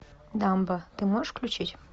дамба ты можешь включить